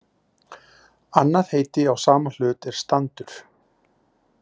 Annað heiti á sama hlut er standur.